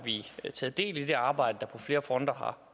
taget del i det arbejde der på flere fronter har